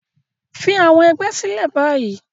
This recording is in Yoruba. Fi àwọn ẹgbẹ́ sílẹ̀ báyìí